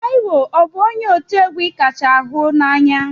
Tiwa ọ bụ onye ọ ti egwu ị kacha hunanya?